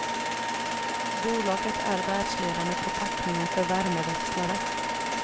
Bolaget är världsledande på packningar för värmeväxlare.